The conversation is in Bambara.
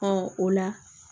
Ɔ o la